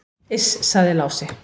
"""Iss, sagði Lási."""